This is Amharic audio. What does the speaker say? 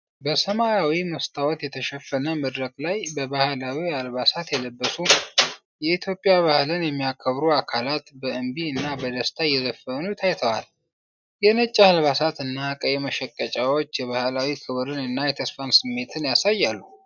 በሰማያዊ መስተዋት የተሸፈነ መድረክ ላይ በባህላዊ አልባሳት የተለበሱ የኢትዮጵያ ባህልን የሚያከብሩ አካላት በእምቢ እና በደስታ እየዘፈኑ ታይተዋል። የነጭ አልባሳት እና ቀይ መሸቀጫዎች የባህላዊ ክብርን እና የተስፋን ስሜት ያሳያሉ።